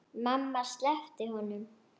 Mamma sleppti honum.